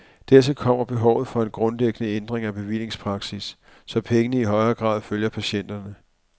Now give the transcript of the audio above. Dertil kommer behovet for en grundlæggende ændring af bevillingspraksis, så pengene i højere grad følger patienterne.